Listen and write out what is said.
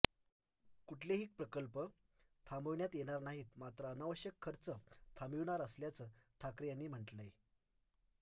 कुठलेही प्रकल्प थांबविण्यात येणार नाहीत मात्र अनावश्यक खर्च थांबविणार असल्याचं ठाकरे यांनी म्हटलंय